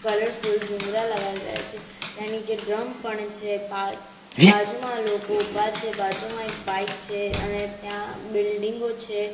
Colourful ભૂંગરા લગાવેલા છે ત્યાં નીચે ડ્રમ પણ છે બા બાજુમાં લોકો ઊભા છે બાજુમાં એક બાઈક છે અને ત્યાં બિલ્ડીંગો છે.